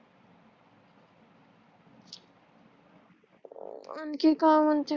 आणखी का म्हणत